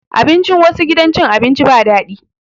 Abincin wassu gidan cin abinci ba daɗi